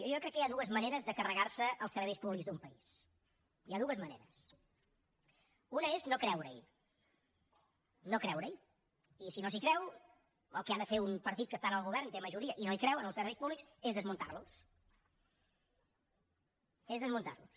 jo crec que hi ha dues maneres de carregarse els serveis públics d’un país hi ha dues maneres una és no creurehi no creurehi i si no s’hi creu el que ha de fer un partit que està en el govern i té majoria i no hi creu en els serveis públics és desmuntarlos és desmuntarlos